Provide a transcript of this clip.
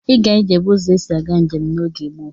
Ịga ije bụ ụzọ esi aga njem n'oge gboo.